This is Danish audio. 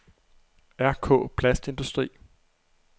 Rk-Plastindustri